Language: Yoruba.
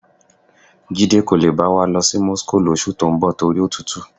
Jídé kò le bá wa lọ sí Moscow lóṣù tó ń bọ̀ nítorí òtútù.